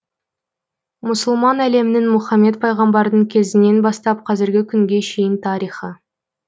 мұсылман әлемінің мұхаммед пайғамбардың кезінен бастап қазіргі күнге шейін тарихы